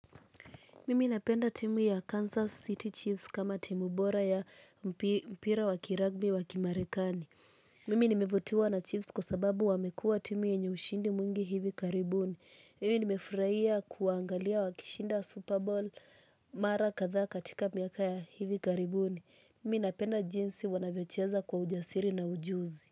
Mimi napenda timu ya Kansas City Chiefs kama timu bora ya mpira wa kiragbi wakimarekani. Mimi nimevutiwa na Chiefs kwa sababu wamekua timu yenye ushindi mwingi hivi karibuni. Mimi nimefurahia kuangalia wakishinda Super Bowl mara kadhaa katika miaka ya hivi karibuni. Mimi napenda jinsi wanavyocheza kwa ujasiri na ujuzi.